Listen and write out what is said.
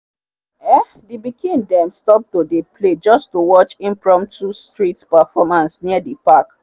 um the pikin them stop to dey play just to watch impromptu street performance near the park.